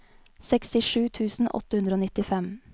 sekstisju tusen åtte hundre og nittifem